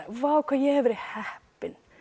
vá hvað ég hef verið heppin